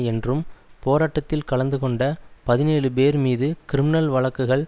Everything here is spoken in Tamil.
என்றும் போராட்டத்தில் கலந்து கொண்ட பதினேழு பேர் மீது கிரிமினல் வழக்குகள்